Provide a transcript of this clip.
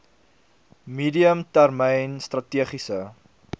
medium termyn strategiese